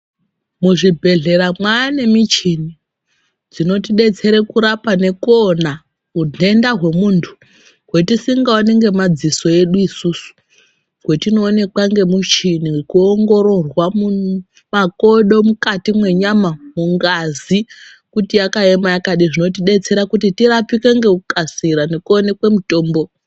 Muzvibhedhlera mwaane michini, dzinoti betsera kurapa nekuona udhenda hwemundu hwetisingaoni ngemadziso edu isusu wetinoonekwa ngemuchini kuongororwa makodo mukati mwenyama kuti ngazi yakaema yakadini inotibetsera kuti tirapwe nekukasira tionekwe mutombo.